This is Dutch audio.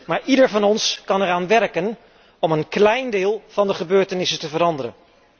Maar ieder van ons kan eraan werken om een klein deel van de gebeurtenissen te veranderen.